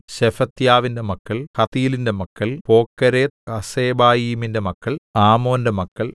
ശെഫത്യാവിന്റെ മക്കൾ ഹത്തീലിന്റെ മക്കൾ പോക്കേരെത്ത്ഹസ്സെബായീമിന്‍റെ മക്കൾ ആമോന്റെ മക്കൾ